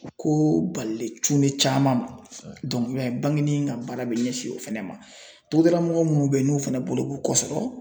Ko balilen cunnen caman ma i b'a ye bangeni ka baara bɛ ɲɛsin o fɛnɛ ma . Togodalamɔgɔw minnu bɛ yen n'u fɛnɛ bolo b'u kɔ sɔrɔ